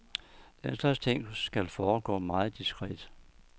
Den slags ting skal foregå meget diskret.